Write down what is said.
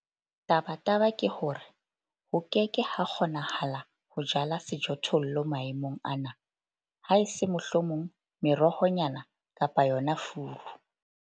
Tabataba ke hore ho ke ke ha kgonahala ho jala sejothollo maemong ana, haese mohlomong merohonyana kapa yona furu.